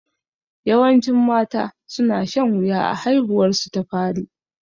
Yawancin mata su na shan wuya a haihuwar su ta fari